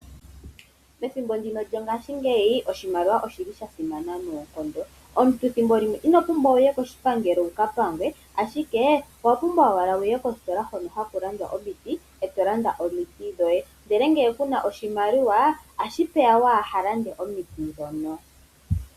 Pethimbo ndino lyongashingeyi oshimaliwa oshili sha simana noonkondo. Omuntu ethimbo limwe ino pumbwa wuye koshipangelo wuka pangwe ashike owa pumbwa owala wuye kostola hono haku landwa omiti eto landa omiti dhoye . Ndele ngele kuna oshimaliwa otashi vulika kuulande omiti ndhono.